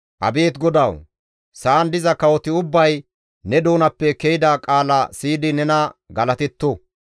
Abeet GODAWU! Sa7an diza kawoti ubbay ne doonappe ke7ida qaala siyidi nena galatetto!